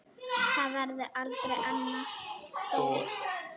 Það verður aldrei annar Thor.